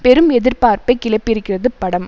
பெரும் எதிர்பார்ப்பை கிளப்பியிருக்கிறது படம்